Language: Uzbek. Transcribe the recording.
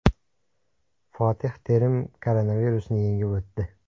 Fotih Terim koronavirusni yengib o‘tdi.